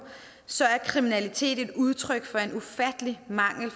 så er kriminalitet et udtryk for en ufattelig mangel